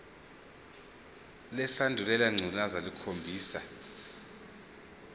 lesandulela ngculazi lukhombisa